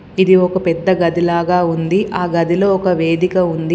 ఇది ఒక పెద్ద గదిలాగా ఉంది ఆ గదిలో ఒక వేదిక ఉంది.